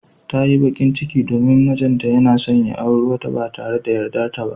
Ta yi bakin ciki domin mijinta yana son ya auri wata ba tare da yardarta ba.